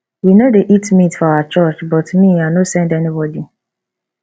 we no dey eat meat for our church but me i no send anybody